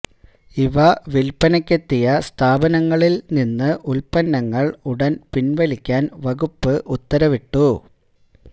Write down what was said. ഇവ വില്പനക്കെത്തിയ സ്ഥാപനങ്ങളില് നിന്ന് ഉല്പന്നങ്ങള് ഉടന് പിന്വലിക്കാന് വകുപ്പ് ഉത്തരവിട്ടു